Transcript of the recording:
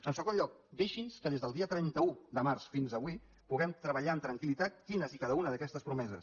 en segon lloc deixi’ns que des del dia trenta un de març fins avui puguem treballar amb tranquil·litat quines i cada una d’aquestes promeses